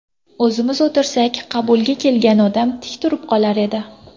O‘zimiz o‘tirsak, qabulga kelgan odam tik turib qolar edi.